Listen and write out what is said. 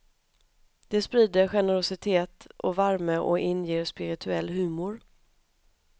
De sprider generositet och värme och inger spirituell humor.